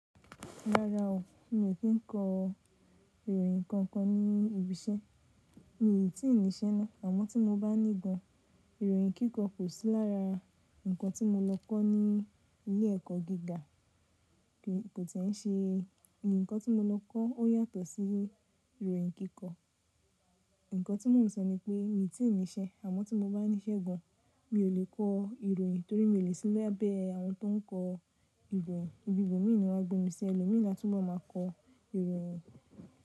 Rárá o, mi ò kí kọ ìròyìn kankan ní ibi iṣẹ́. Mi tí nì iṣe ná, àmọ́ tí mo bá ní gan, ìròyìn kíkọ kò sí lára nǹkan tí mo lọ kọ́ ní ilé ẹkọ gíga, kò tí ṣe ǹkan tí mo lọ kọ́ ó yàtọ̀ sí ìròyìn kíkọ. Ǹkan tí mò ń sọ ni pé, mi ò tí ì ní iṣe, àmọ́ tí mo bá ní ṣe gan, mi ò lè kọ ìròyìn torí mi ò lè sí lábẹ́ àwọn tó n kọ ìròyìn. Ibi ìbò mí ni wọ́n á gbé mi sí ẹlòmíì la tun be máa kọ ìròyìn.